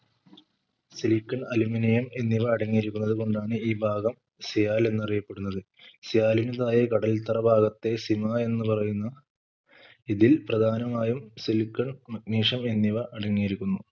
silicon aluminium എന്നിവ അടങ്ങിയിരിക്കുന്നത് കൊണ്ടാണ് ഈ ഭാഗം sial എന്നറിയപ്പെടുന്നത് sial ന് താഴെ കടൽത്തറ ഭാഗത്തെ sima എന്ന് പറയുന്ന ഇതിൽ പ്രധാനമായും silicon megnesium എന്നിവ അടങ്ങിയിരിക്കുന്നു